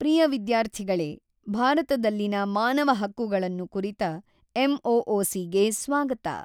ಪ್ರಿಯ ವಿದ್ಯಾರ್ಥಿಗಳೇ ಭಾರತದಲ್ಲಿನ ಮಾನವ ಹಕ್ಕುಗಳನ್ನು ಕುರಿತ ಎಮ್ಓಓಸಿ ಗೆ ಸ್ವಾಗತ.